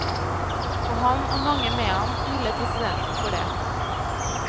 Og han og mange med han hyller presidenten for det.